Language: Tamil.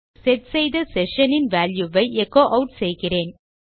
செட் செய்த செஷன் இன் வால்யூ ஐ எச்சோ ஆட் செய்கிறேன்